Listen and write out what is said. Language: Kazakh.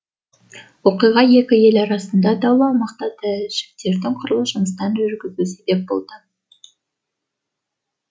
оқиға екі ел арасында даулы аумақта тәжіктердің құрылыс жұмыстарын жүргізуі себеп болды